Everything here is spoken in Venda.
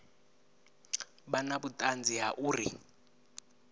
vha na vhuṱanzi ha uri